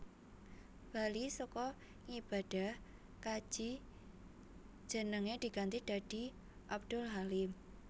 Bali saka ngibadah kaji jenenge diganti dadi Abdul Halim